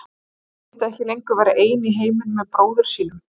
Hún vildi ekki lengur vera ein í heiminum með bróður sínum.